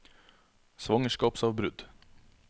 svangerskapsavbrudd